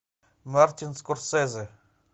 мартин скорсезе